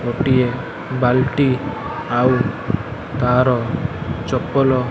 ଗୋଟିଏ ବାଲଟି ଆଉ ତା'ର ଚପଲ --